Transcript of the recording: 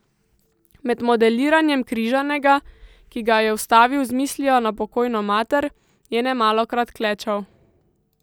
Med modeliranjem Križanega, ki ga je ustvaril z mislijo na pokojno mater, je nemalokrat klečal.